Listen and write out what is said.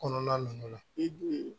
Kɔnɔna ninnu na